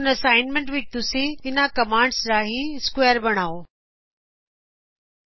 ਹੁਣ ਅਸਾਈਨਮੈੰਟ ਵਿਚ ਤੁਸੀ ਇਨ੍ਹਾ ਕਮਾਂਡਜ਼ ਰਾਹੀ ਸਕੁਏਅਰ ਬਣਾਓ ਗੇ